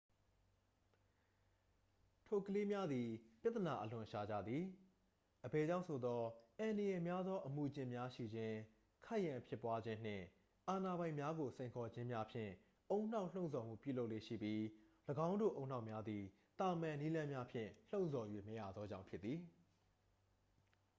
"ထိုကလေးများသည် ပြဿနာအလွန်ရှာကြသည် အဘယ်ကြောင့်ဆိုသော် "အန္တရာယ်များသော အမူအကျင့်များရှိခြင်း၊ ခိုက်ရန်ဖြစ်ပွားခြင်းနှင့် အာဏာပိုင်များကို စိန်ခေါ်ခြင်းများ""ဖြင့် ဦးနှောက်လှုံ့ဆော်ရန်ပြုလုပ်လေ့ရှိပြီး ၎င်းတို့ဦးနှောက်များသည် သာမန် နည်းလမ်းများဖြင့် လှုံ့ဆော်၍မရသောကြောင့်ဖြစ်သည်။